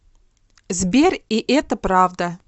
сбер и это правда